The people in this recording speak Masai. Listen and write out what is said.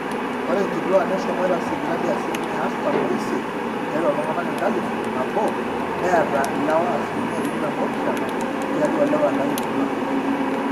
ore inkituak neshomoita sipitali asilimia artam oisiet tiatua iltung'anak enkalifu nabo neeta ilewa asilimia tikitam oopishana tiatua ilewa enkalifu nabo